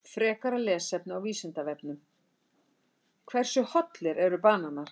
Frekara lesefni á Vísindavefnum: Hversu hollir eru bananar?